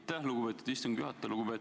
Aitäh, lugupeetud istungi juhataja!